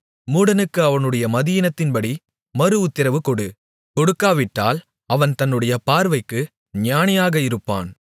மூடனுக்கு அவனுடைய மதியீனத்தின்படி மறுஉத்திரவு கொடு கொடுக்காவிட்டால் அவன் தன்னுடைய பார்வைக்கு ஞானியாக இருப்பான்